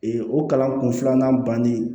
o kalan kun filanan banni